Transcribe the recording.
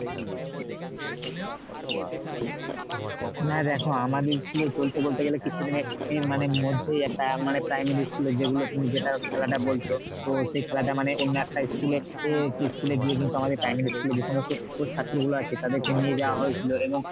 না দেখো আমাদের school এ চলছে বলতে গেলে কিছু দিনের এর মানে মধ্যেই একটা মানে primary school এর যেগুলো তুমি খেলাটা বলছো তো সেই খেলাটা মানে অন্য একটা school এ অ্যাঁ school এ গিয়ে কিন্তু মানে আমাদের primary school এর যে সমস্ত ছাত্রী গুলো আছে তাদেরকে নিয়ে যাওয়া হয়েছিল এবং